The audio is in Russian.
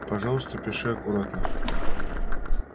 пожалуйста пиши аккуратно